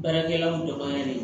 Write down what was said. Baarakɛlaw dɔgɔyara dɛ